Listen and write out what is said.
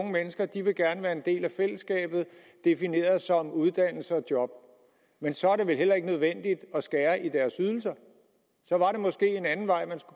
gerne vil være en del af fællesskabet defineret som uddannelse og job men så er det vel heller ikke nødvendigt at skære i deres ydelser der var måske en anden vej man